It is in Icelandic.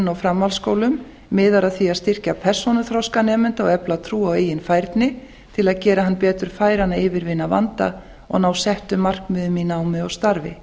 og framhaldsskólum miðar að því að styrkja persónuþroska nemenda og efla trú á eigin færni til að gera hann betur færan að yfirvinna vanda og ná settum markmiðum í námi og starfi